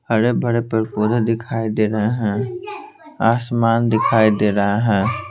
हरे भरे पेड़ पोधे दिखाई दे रहे हैं आसमान दिखाई दे रहा है।